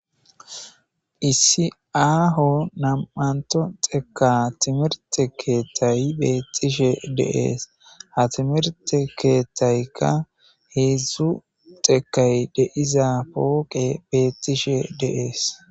Issi aaho nam'antho dheka timirte keethay beetishe de'ees. Ha timirte keethayka heedzu dhekay de'iza pooqey beetishe de'ees.